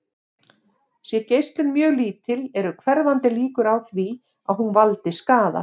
Sé geislun mjög lítil eru hverfandi líkur á því að hún valdi skaða.